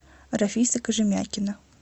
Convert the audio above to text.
рафиса кожемякина